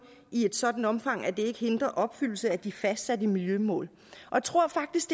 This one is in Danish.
i et sådant omfang at det ikke hindrer opfyldelse af de fastsatte miljømål jeg tror faktisk